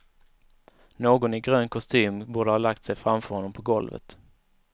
Någon i grön kostym borde ha lagt sig framför honom på golvet.